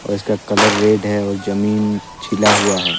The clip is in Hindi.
और इसका कलर रेड है और जमीन छिला हुआ है।